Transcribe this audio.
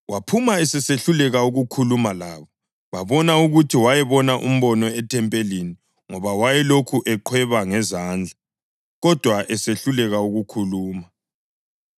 Waphuma esesehluleka ukukhuluma labo. Babona ukuthi wayebone umbono ethempelini ngoba wayelokhu eqhweba ngezandla, kodwa esehluleka ukukhuluma.